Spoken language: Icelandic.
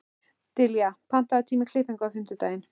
Dilja, pantaðu tíma í klippingu á fimmtudaginn.